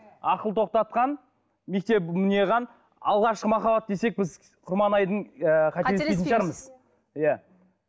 ақыл тоқтатқан мектеп алғашқы махаббат десек біз құрманайдың ыыы қателеспейтін шығармыз иә